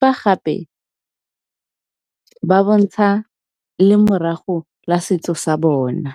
fa gape ba bontsha lemorago la setso sa bona.